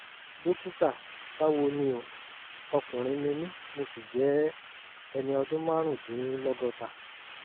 dókítà báwo ni o? ọkùnrin ni mí mo sì jẹ́ ẹni ọdún márùndínlọ́gọ́ta